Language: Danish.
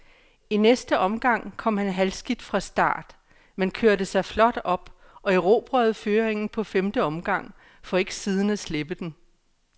I næste omgang kom han halvskidt fra start, men kørte sig flot op og erobrede føringen på femte omgang, for ikke siden at slippe den.